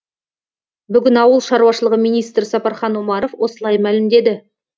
бүгін ауыл шаруашылығы министрі сапархан омаров осылай мәлімдеді